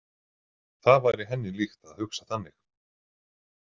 Það væri henni líkt að hugsa þannig.